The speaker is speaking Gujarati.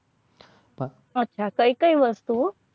અચ્છા કઈ કઈ વસ્તુઓ